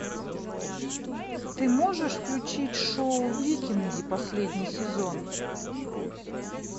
ты можешь включить шоу викинги последний сезон